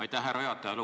Aitäh, härra juhataja!